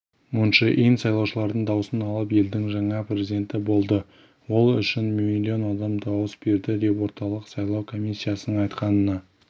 мун чжэ ин сайлаушылардың даусын алып елдің жаңа президенті болды ол үшін миллион адам дауыс берді деп орталық сайлау комиссиясының айтқанына